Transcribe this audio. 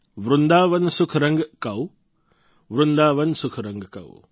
વૃંદાવન સુખ રંગ કૌ વૃંદાવન સુખ રંગ કૌ